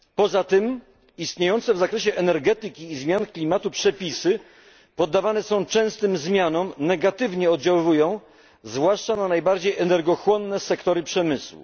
Poza tym istniejące w zakresie energetyki i zmian klimatu przepisy poddawane są częstym zmianom, negatywnie oddziaływają zwłaszcza na najbardziej energochłonne sektory przemysłu.